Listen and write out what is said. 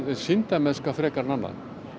sýndarmennska frekar en annað